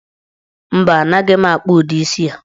Mba, anaghị m akpụ udi isii a.